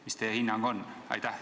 Mis teie hinnang on?